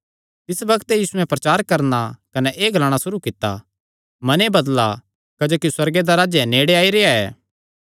तिस बग्त ते यीशुयैं प्रचार करणा कने एह़ ग्लाणा सुरू कित्ता मने बदला क्जोकि सुअर्गे दा राज्ज नेड़े आई रेह्आ ऐ